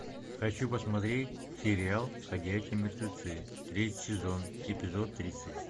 хочу посмотреть сериал ходячие мертвецы третий сезон эпизод тридцать